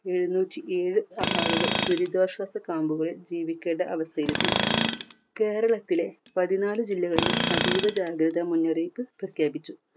എഴുന്നൂറ്റി ഏഴ് ആ ആളുകൾ ദുരിതാശ്വാസ camp കളിൽ ജീവിക്കേണ്ട അവസ്ഥയിലെത്തി. കേരളത്തിലെ പതിനാല് ജില്ലകളിലും അതീവ ജാഗ്രത മുന്നറിയിപ്പ് പ്രഖ്യാപിച്ചു.